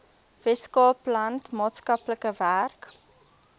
weskaapland maatskaplike werk